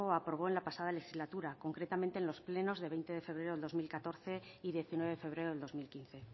aprobó en la pasada legislatura concretamente en los plenos de veinte de febrero del dos mil catorce y diecinueve de febrero de dos mil quince en